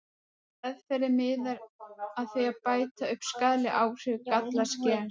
Meðferðin miðar að því að bæta upp skaðleg áhrif gallaðs gens.